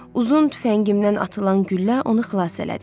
Uzun tüfəngimdən atılan güllə onu xilas elədi.